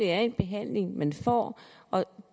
er en behandling man får og